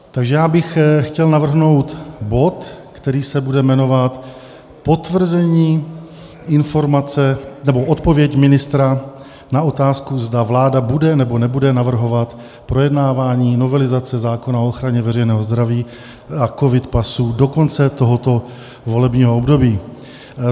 Takže já bych chtěl navrhnout bod, který se bude jmenovat Potvrzení informace nebo Odpověď ministra na otázku, zda vláda bude nebo nebude navrhovat projednávání novelizace zákona o ochraně veřejného zdraví a covid pasů do konce tohoto volebního období.